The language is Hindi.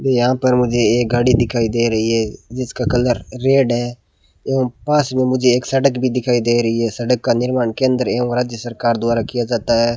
यहां पर मुझे एक गाड़ी दिखाई दे रही है जिसका कलर रेड है जो पास में मुझे एक सड़क भी दिखाई दे रही है सड़क का निर्माण केंद्र एवं राज्य सरकार द्वारा किया जाता है।